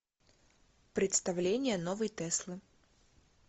представление новой теслы